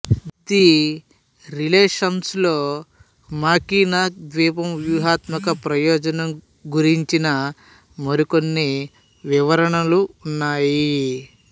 the relations లో Mackinac ద్వీపం వ్యూహాత్మక ప్రయోజనం గురించిన మరికొన్ని వివరణలు ఉన్నాయి